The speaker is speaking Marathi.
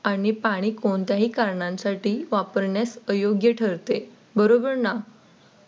आणि पाणी कोणत्याही कारणांसाठी वापरण्यास अयोग्य ठरते बरोबर ना?